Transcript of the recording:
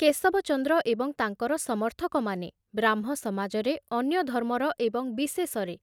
କେଶବଚନ୍ଦ୍ର ଏବଂ ତାଙ୍କର ସମର୍ଥକମାନେ ବ୍ରାହ୍ମ ସମାଜରେ ଅନ୍ୟ ଧର୍ମର ଏବଂ ବିଶେଷରେ